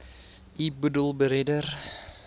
u boedel beredder